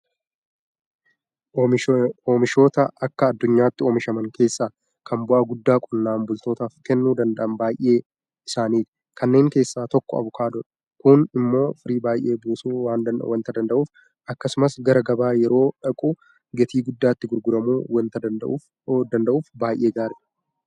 Oomishoota akka addunyaatti oomishaman keessaa kan bu'aa guddaa qonnaan bultootaaf kennuu danda'an baay'ee isaaniiti. Kanneen keessaa tokko Abukaadoodha. Kun immoo firii baay'ee buusuu waanta danda'uuf akkasumas gara gabaa yeroo dhaqu gatii guddaatti gurguramuu waanta danda'uuf baay'ee gaariidha.